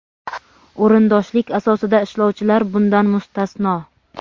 o‘rindoshlik asosida ishlovchilar bundan mustasno.